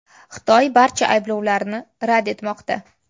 Xitoy barcha ayblovlarni rad etmoqda.